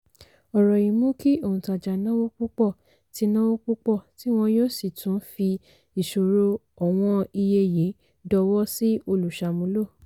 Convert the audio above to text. ọ̀rọ̀ yìí mú kí òǹtajà náwó púpọ̀ tí náwó púpọ̀ tí wọ́n yóò sì tún fi ìṣòro ọ̀wọ́n iye yìí dọwọ́ sí olùsàmúlò.